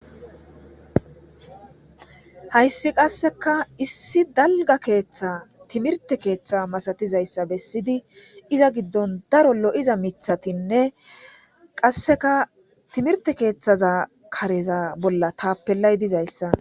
Haysi qaseka issi daliga ketha timirte ketha masatizaysa besid iza gidon daro lo'za mithatinne qaseka timirte kethaza kareza bola tapelay dizaysa.